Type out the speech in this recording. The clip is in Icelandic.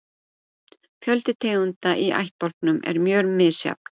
Fjöldi tegunda í ættbálkum er mjög misjafn.